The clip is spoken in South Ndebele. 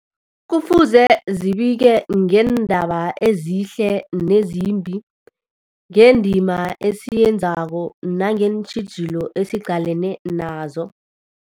Kufuze zibike ngeendaba ezihle nezimbi, ngendima esiyenzako nangeentjhijilo esiqalene nazo.